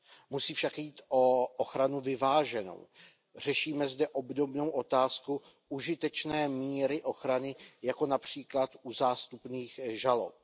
Musí však jít o ochranu vyváženou, řešíme zde obdobnou otázku užitečné míry ochrany jako například u zástupných žalob.